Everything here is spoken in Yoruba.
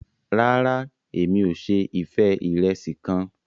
Ràrá, Èmi ò se ife irẹsi kàn